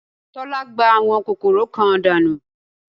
Tọ́lá gbá àwọn kòkòrò kan dànù